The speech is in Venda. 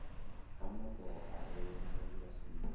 ha mato a re mangilasini